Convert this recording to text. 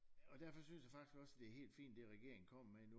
Og derfor synes jeg faktisk også det er helt fint det regeringen kommer med nu